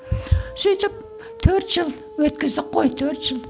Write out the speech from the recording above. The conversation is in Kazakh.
сөйтіп төрт жыл өткіздік қой төрт жыл